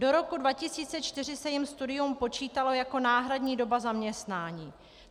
Do roku 2004 se jim studium počítalo jako náhradní doba zaměstnání.